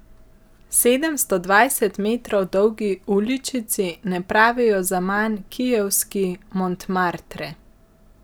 Sedemsto dvajset metrov dolgi uličici ne pravijo zaman kijevski Montmartre.